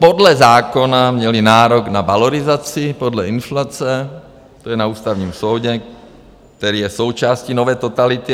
Podle zákona měli nárok na valorizaci podle inflace, to je na Ústavním soudu, který je součástí nové totality...